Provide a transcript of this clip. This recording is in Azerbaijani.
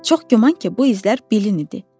Çox güman ki, bu izler bilin idi.